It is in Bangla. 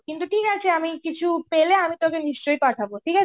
কিন্তু ঠিকআছে আমি কিছু পেলে আমি তোকে নিশ্চয় পাঠাবো. ঠিকআছে.